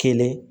Kelen